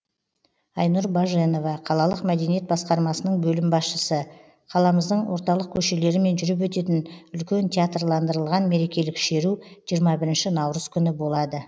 айнұр баженова қалалық мәдениет басқармасының бөлім басшысы қаламыздың орталық көшелерімен жүріп өтетін үлкен театрландырылған мерекелік шеру жиырма бірінші наурыз күні болады